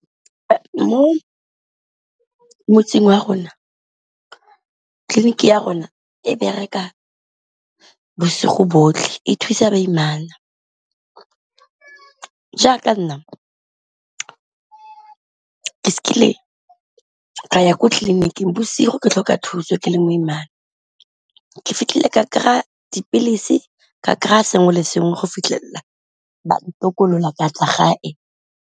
Mo motseng wa rona tleliniki ya rona e bereka bosigo botlhe e thusa baimana, jaaka nna ke kile ka ya kwa tleliniking bosigo ke tlhoka thuso ke leng boimana ke fitlhile ka kry-a dipilisi ka kry-a sengwe le sengwe go fitlhelela tokolola ka tla gae.